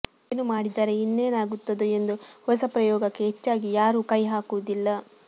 ಏನು ಮಾಡಿದರೆ ಇನ್ನೇನಾಗುತ್ತದೋ ಎಂದು ಹೊಸ ಪ್ರಯೋಗಕ್ಕೆ ಹೆಚ್ಚಾಗಿ ಯಾರೂ ಕೈಹಾಕುವುದಿಲ್ಲ